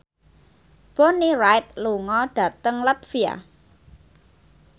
Bonnie Wright lunga dhateng latvia